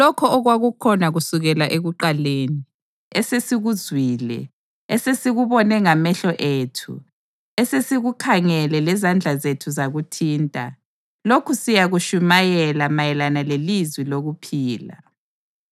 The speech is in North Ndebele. Lokho okwakukhona kusukela ekuqaleni, esesikuzwile, esesikubone ngamehlo ethu, esesikukhangele lezandla zethu zakuthinta, lokhu siyakutshumayela mayelana leLizwi lokuphila.